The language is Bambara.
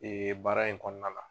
Ee baara in kɔnɔna la.